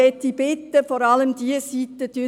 Ich möchte vor allem diese Seite bitten: